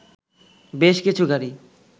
বেশ কিছু গাড়ি